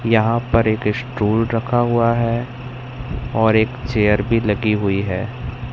यहां पर एक स्टूल रखा हुआ है और एक चेयर भी लगी हुई है।